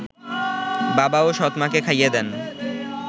বাবা ও সৎমাকে খাইয়ে দেন